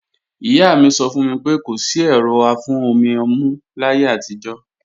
Ìyá mi sọ fún mi pé kò sí ẹ̀rọ afún-omi-ọmú láyé àtijọ́